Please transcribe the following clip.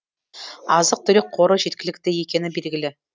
азық түлік қоры жеткілікті екені белгілі